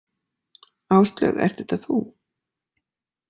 Áslaug, ert þetta þú?